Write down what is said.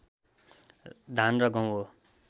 धान र गहुँ हो